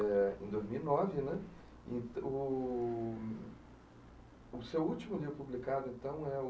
eh, em dois mil e nove né. E o o seu último livro publicado, então, é o